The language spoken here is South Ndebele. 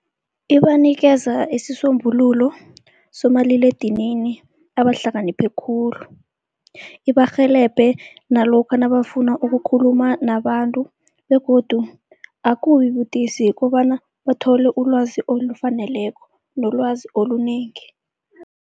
Ibanikeza isisombululo somaliledinini abahlakaniphe khulu. Ibarhelebhe nalokha nabafuna ukukhuluma nabantu begodu akubi budisi kobana bathole ulwazi olufaneleko nolwazi olunengi.